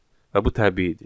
Və bu təbiidir.